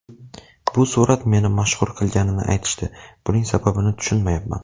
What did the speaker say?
Bu surat meni mashhur qilganini aytishdi, buning sababini tushunmayapman.